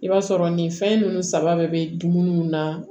I b'a sɔrɔ nin fɛn ninnu saba bɛɛ bɛ dumuni na